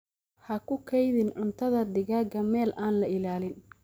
Ha ku kaydin cuntada digaaga meel aan la ilaalin.